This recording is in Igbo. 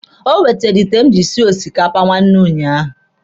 O wetere ite m jiri sie osikapa nwanne ụnyaahụ.